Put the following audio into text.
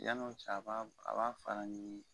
Yanni o cɛ a b'a a b'a fara ɲigi.